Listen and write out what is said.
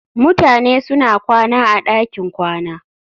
Mutane suna kwana a ɗakin kwana